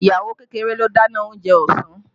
Ìyàwó kékeré ló dáná oúnjẹ ọsàn